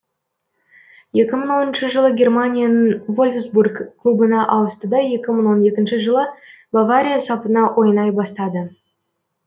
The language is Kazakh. екі мың оныншы жылы германияның вольфсбург клубына ауысты да екі мың он екінші жылы бавария сапына ойнай бастады